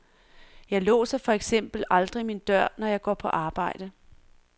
Jeg låser for eksempel aldrig min dør, når jeg går på arbejde.